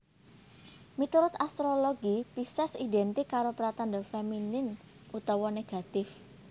Miturut astrologi Pises identik karo pratandha feminin utawa negatif